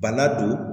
Bana don